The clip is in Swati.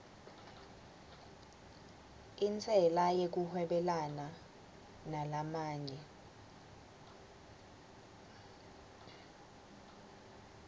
intsela yekuhwebelana nalamanye